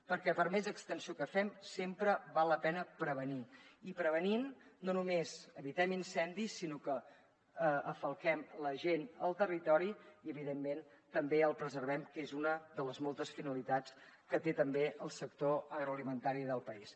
perquè per més extensió que fem sempre val la pena prevenir i prevenint no només evitem incendis sinó que falquem la gent al territori i evidentment també el preservem que és una de les moltes finalitats que té també el sector agroalimentari del país